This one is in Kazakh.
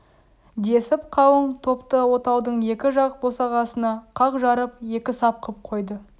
десіп қалың топты отаудың екі жақ босағасына қақ жарып екі сап қып қойды